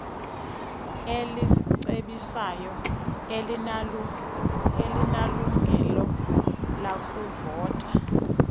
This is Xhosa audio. elicebisayo alinalungelo lakuvota